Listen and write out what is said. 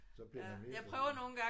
Så bliver man megaforvirret